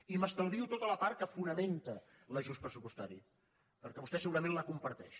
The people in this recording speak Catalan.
i m’estalvio tota la part que fonamenta l’ajust pressupostari perquè vostè segurament la comparteix